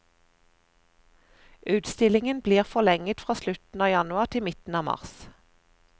Utstillingen blir forlenget fra slutten av januar til midten av mars.